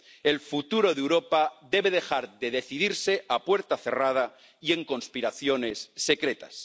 El futuro de Europa debe dejar de decidirse a puerta cerrada y en conspiraciones secretas.